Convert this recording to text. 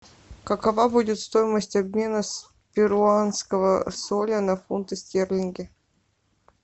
какова будет стоимость обмена с перуанского соля на фунты стерлинги